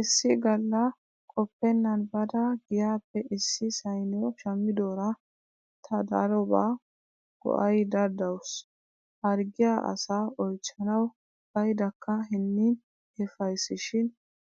Issi galla qoppennan baada giyaappe issi sayniyo shaamidoora ta darobawu go"aydda dawusu. Harggiyaa asaa oychchanawu bayddakka hinnin efaysishin